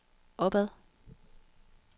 opad